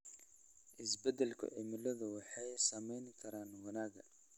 Isbeddelka cimiladu waxay saameyn kartaa wanaagga.